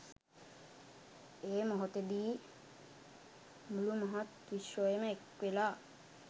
ඒ මොහොතෙදි මුළු මහත් විශ්වයම එක්වෙලා